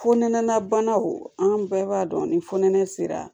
Fonɛnɛ banaw an bɛɛ b'a dɔn ni fonɛnɛ sera